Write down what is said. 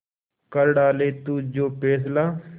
कर डाले तू जो फैसला